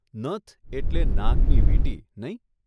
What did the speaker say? નથ એટલે નાકની વીંટી, નહીં?